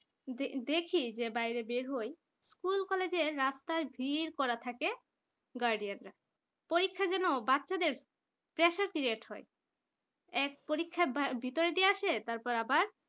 দে দেখি বাইরে বের হয় school college রাস্তায় ভিড় করা থাকে guardian রা পরীক্ষা যেন বাচ্চাদের pressure create হয় এক পরীক্ষা ভিতর দিয়ে আসে তারপর আবার